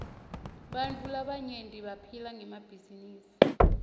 bantfu labaryenti baphila ngemabhizinisi